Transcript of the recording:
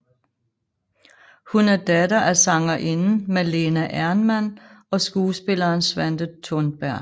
Hun er datter af sangerinden Malena Ernman og skuespilleren Svante Thunberg